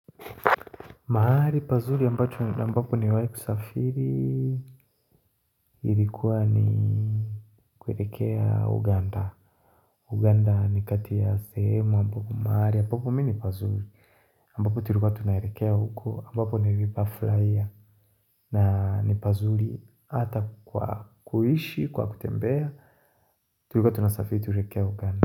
Mahali pazuri ambapo ni wale kusafiri ilikuwa ni kuelekea uganda uganda ni kati ya sehemo ambapo mahali ambapo mini pazuri ambapo tulikua tunaelekea huko ambapo nilipafurahia ni pazuri hata kwa kuishi kwa kutembea tulika tunasafiri tukielekea uganda.